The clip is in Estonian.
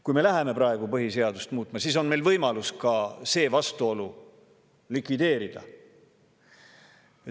Kui me läheme praegu põhiseadust muutma, siis on meil võimalus ka see vastuolu likvideerida.